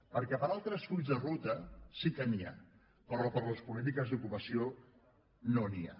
perquè per a altres fulls de ruta sí que n’hi ha però per a les polítiques d’ocupació no n’hi ha